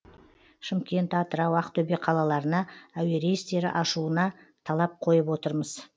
шымкент атырау ақтөбе қалаларына әуе рейстерді ашуына талап қойып отырмыз